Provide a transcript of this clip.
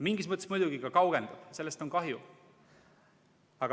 Mingis mõttes muidugi ka kaugendab, sellest on kahju.